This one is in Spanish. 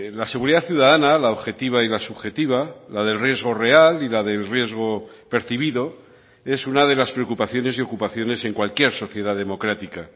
la seguridad ciudadana la objetiva y la subjetiva la del riesgo real y la del riesgo percibido es una de las preocupaciones y ocupaciones en cualquier sociedad democrática